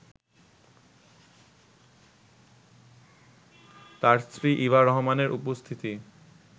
তাঁর স্ত্রী ইভা রহমানের উপস্থিতি